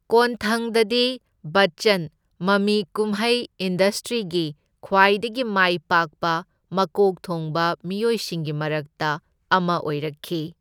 ꯀꯣꯟꯊꯪꯗꯗꯤ ꯕꯆꯆꯟ ꯃꯃꯤ ꯀꯨꯝꯍꯩ ꯏꯟꯗꯁꯇ꯭ꯔꯤꯒꯤ ꯈ꯭ꯋꯥꯏꯗꯒꯤ ꯃꯥꯏ ꯄꯥꯛꯄ ꯃꯀꯣꯛ ꯊꯣꯡꯕ ꯃꯤꯑꯣꯏꯁꯤꯡꯒꯤ ꯃꯔꯛꯇ ꯑꯃ ꯑꯣꯏꯔꯛꯈꯤ꯫